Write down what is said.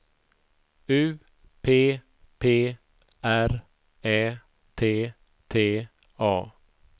U P P R Ä T T A